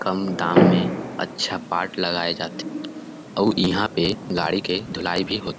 कम दाम में अच्छा पार्ट लगाय जात हे अउ इहा पे गाडी के धुलाई भी होत हे ।